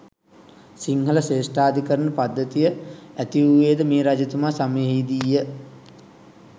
සිංහල ශ්‍රේෂ්ඨාධිකරණ පද්ධතිය ඇතිවූයේද මේ රජතුමා සමයෙහිදීය.